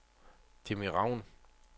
Jimmi Raun